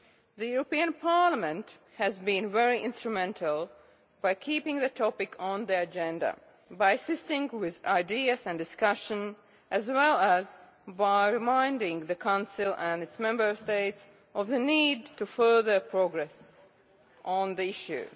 The European Parliament has been very instrumental, by keeping the topic on the agenda, by assisting with ideas and discussion, as well as by reminding the Council and its Member States of the need to further progress on the issue.